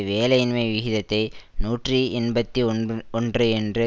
வேலையின்மை விகிதத்தை நூற்றி எண்பத்தி ஒன்ப் ஒன்று என்று